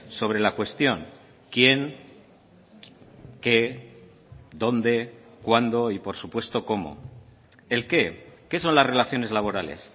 sobre la cuestión quién qué dónde cuándo y por supuesto cómo el qué qué son las relaciones laborales